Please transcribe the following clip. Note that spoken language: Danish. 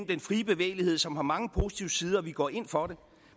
den frie bevægelighed som har mange positive sider og vi går ind for den